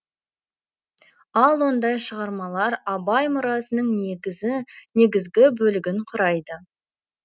ал ондай шығармалар абай мұрасының негізгі бөлігін құрайды